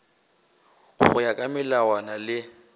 go ya ka melawana le